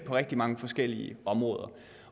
rigtig mange forskellige områder